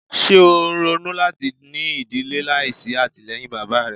Ṣe o n ronu lati ni idile laisi atilẹyin baba rẹ? "